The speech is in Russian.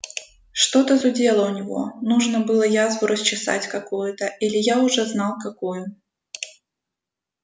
что-то зудело у него нужно было язву расчесать какую-то илья уже знал какую